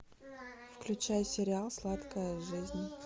включай сериал сладкая жизнь